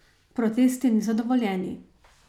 Protesti niso dovoljeni.